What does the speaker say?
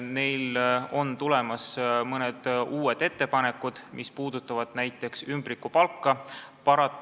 Neilt on tulemas mõned uued ettepanekud, mis puudutavad näiteks ümbrikupalka.